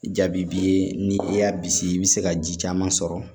Jaabi ye ni i y'a bisigi i bɛ se ka ji caman sɔrɔ